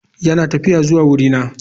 Yana tafiya zuwa wurina.